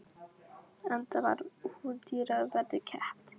Enda var hún dýru verði keypt.